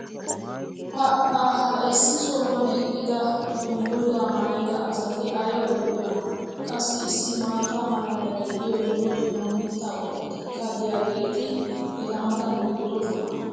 pa ha issi sohuwan eqqida danguzzaa maayida asati ayba lo'iyoonaa! qassi issi maata mala meray diyo dumma dumma mitaa qommotikka diyaageeti eta matan beetoosona.